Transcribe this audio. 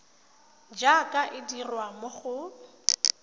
jaaka e dirwa mo go